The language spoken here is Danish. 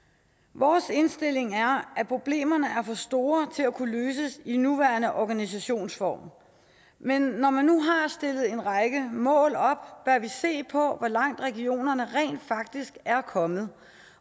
vores indstilling er at problemerne er for store til at kunne løses i den nuværende organisationsform men når man nu har stillet en række mål op bør vi se på hvor langt regionerne rent faktisk er kommet